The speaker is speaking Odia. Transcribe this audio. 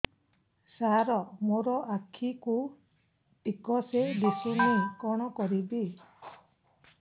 ସାର ମୋର ଆଖି କୁ ଠିକସେ ଦିଶୁନି କଣ କରିବି